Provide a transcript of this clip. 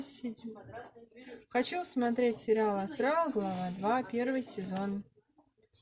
хочу смотреть сериал астрал глава два первый сезон